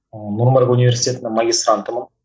нұр мүбарак университетінің магистрантымын